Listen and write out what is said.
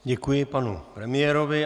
Děkuji panu premiérovi.